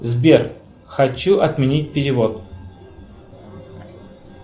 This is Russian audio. сбер хочу отменить перевод